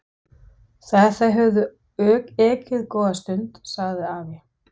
Þegar þeir höfðu ekið góða stund sagði afi